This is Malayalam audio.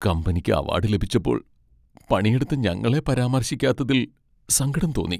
കമ്പനിക്ക് അവാഡ് ലഭിച്ചപ്പോൾ പണിയെടുത്ത ഞങ്ങളെ പരാമർശിക്കാത്തതിൽ സങ്കടം തോന്നി.